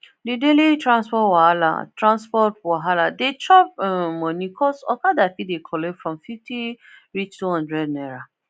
the daily transport wahala transport wahala dey chop um money cos okada fit dey collect from fifty reach two hundred naira